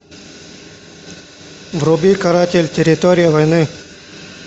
вруби каратель территория войны